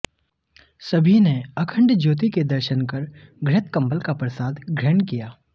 सभी ने अखंड ज्योति के दर्शन कर घृत कंबल का प्रसाद ग्रहण किया